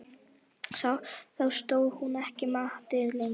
Þá stóðst hún ekki mátið lengur.